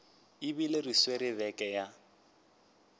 ebile re swere beke ya